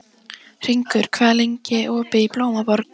Hringur, hvað er lengi opið í Blómaborg?